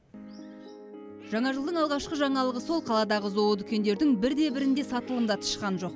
жаңа жылдың алғашқы жаңалығы сол қаладағы зоо дүкендердің бірде бірінде сатылымда тышқан жоқ